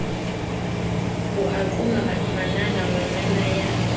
o a qhoma manana ngwananaya